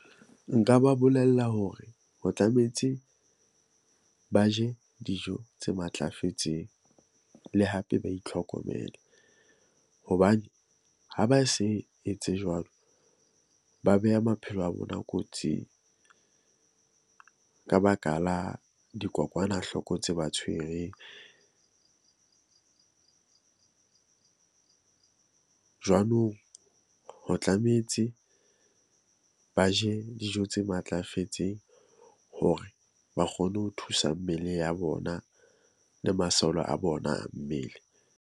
Nka ba bolella hore ho tlametse ba je dijo tse matlafetseng le hape ba itlhokomele. Hobane ha ba se etse jwalo, ba beha maphelo a bona kotsing ka baka la dikokwanahloko tse ba tshwereng. Jwanong ho tlametse ba je dijo tse matlafetseng hore ba kgone ho thusa mmele ya bona le masole a bona mmele